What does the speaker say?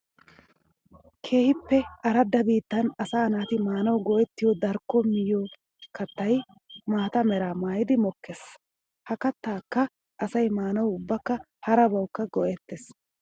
Keehippe aradda biittan asaa naati maanawu go'ettiyo darkko miyo kattay maata meraa maayiddi mokkees. Ha kattakka asay maanawu ubbakka harabawukka go'ettes.